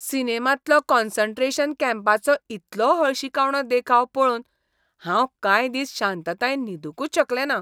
सिनेमांतलो concentration कॅम्पाचो इतलो हळशिकावणो देखाव पळोवन हांव कांय दिस शांततायेन न्हिदूंकच शकलेंना.